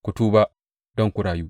Ku tuba don ku rayu!